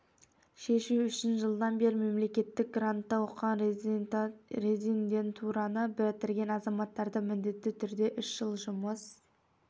шешу үшін жылдан бері мемлекеттік грантта оқыған резидентураны бітірген азаматтарды міндетті түрде үш жыл жұмыс